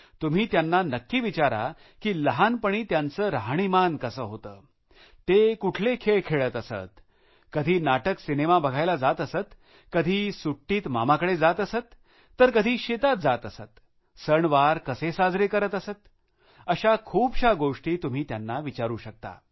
तुम्हीत्यांना नक्की विचारा की लहानपणी त्यांचे राहणीमान कसे होते ते कुठले खेळ खेळत असत कधी नाटक सिनेमा बघायला जात असत का कधी सुट्टीत मामाकडे जात असत तर कधी शेतात जात असत सणवार कसे साजरे करत अशा खूपशा गोष्टी तुम्ही त्यांना विचारू शकता